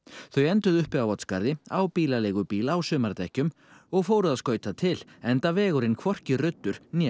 þau enduðu uppi á Oddsskarði á bílaleigubíl á sumardekkjum og fóru að skauta til enda vegurinn hvorki ruddur né